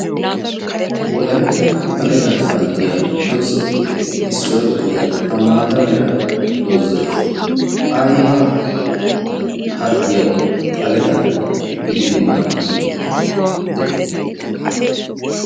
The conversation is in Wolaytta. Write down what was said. Wolayttan xaleedan maaddiyaa doozatuppe issuwa gidida ha maata mera doozay aybba harggiyaw xalle gidid maadide de'i?